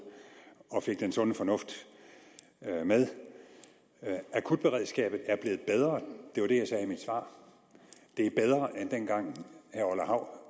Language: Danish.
og fik den sunde fornuft med akutberedskabet er blevet bedre det var det jeg sagde i mit svar end dengang herre orla hav